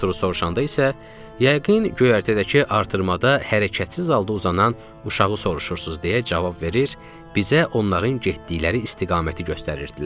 Arturu soruşanda isə yəqin göyərtədəki artırmada hərəkətsiz halda uzanan uşağı soruşursunuz deyə cavab verir, bizə onların getdikləri istiqaməti göstərirdilər.